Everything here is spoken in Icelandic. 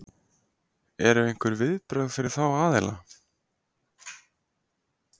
Eru einhver viðbrögð fyrir þá aðila?